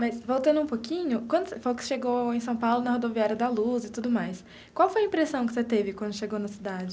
Mas voltando um pouquinho, quando você falou que chegou em São Paulo na rodoviária da Luz e tudo mais, qual foi a impressão que você teve quando chegou na cidade?